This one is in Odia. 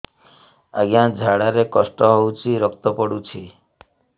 ଅଜ୍ଞା ଝାଡା ରେ କଷ୍ଟ ହଉଚି ରକ୍ତ ପଡୁଛି